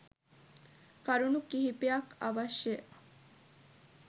කරුණු කිහිපයක් අවශ්‍යය.